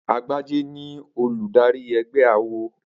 Agbájé ni olùdarí ẹgbẹ́ awo.